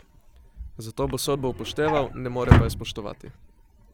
Zato bo sodbo upošteval, ne more pa je spoštovati.